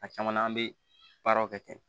A caman an bɛ baaraw kɛ ten